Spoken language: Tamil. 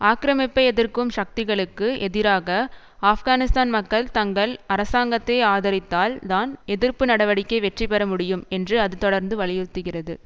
ஆக்கிரமிப்பை எதிர்க்கும் சக்திகளுக்கு எதிராக ஆப்கானிஸ்தான் மக்கள் தங்கள் அரசாங்கத்தை ஆதரித்தால் தான் எதிர்ப்பு நடவடிக்கை வெற்றி பெற முடியும் என்று அது தொடர்ந்து வலியுறுத்துகிறது